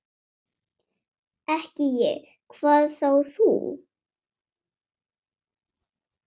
Ekki ég, hvað þá þú.